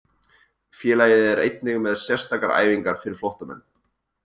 Félagið er einnig með sérstakar æfingar fyrir flóttamenn.